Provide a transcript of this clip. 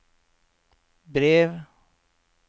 brev